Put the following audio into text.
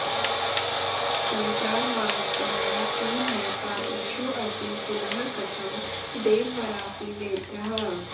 संसारवांस्त्वं हि न तादृशोऽसि पुनः कथं देववरासि वेद्यः